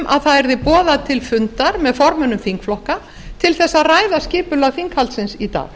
um að það yrði boðað til fundar með formönnum þingflokka til að ræða skipulag þingflokksins í dag